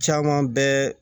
Caman bɛɛ